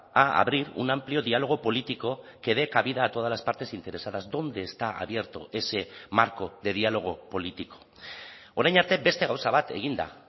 a abrir un amplio diálogo político que dé cabida a todas las partes interesadas dónde está abierto ese marco de diálogo político orain arte beste gauza bat egin da